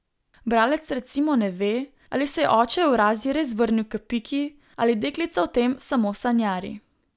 Bralec recimo ne ve, ali se je oče Evrazij res vrnil k Piki ali deklica o tem samo sanjari.